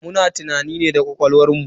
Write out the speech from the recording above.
Muna tunani ne da ƙwaƙwalwar mu.